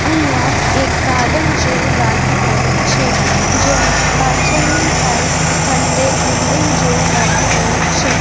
અહીંયા એક ગાર્ડન જેવુ લાગી રહ્યુ છે જ્યાં પાછળની સાઇડ ખંડેર બિલ્ડીંગ જેવુ લાગી રહ્યુ છે.